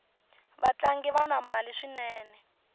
vatlangi vana mali swinene